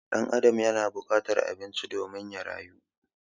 Ɗan Adam yana bukatar abinci domin ya rayu